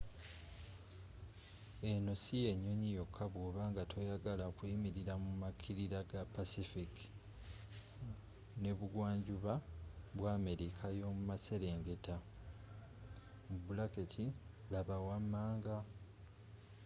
eno si y'ennyonyi yokka bwoba nga toyagala kuyimirira mu makirira ga pacific n’ebugwanjuba bwa america yomumaserengeta.laba wamanga